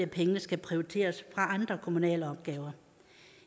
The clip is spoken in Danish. pengene skal prioriteres fra andre kommunale opgaver